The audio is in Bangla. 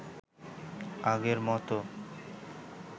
আগের মতো